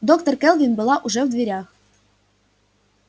доктор кэлвин была уже в дверях